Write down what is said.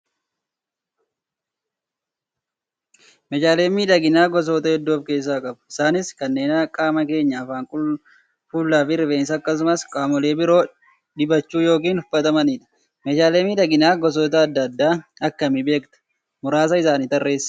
Meeshaaleen miidhaginaa gosoota hedduu of keessaa qabu. Isaanis kanneen qaama keenya afaan, fuula fi rifeensa akkasumas qaamolee biroo dibachuu yookiin uffatamanidha. Meeshaalee miidhaginaa gosoota adda addaa akkami beektaa? Muraasa isaanii tarreesi.